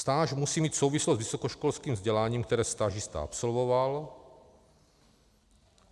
Stáž musí mít souvislost s vysokoškolským vzděláním, které stážista absolvoval.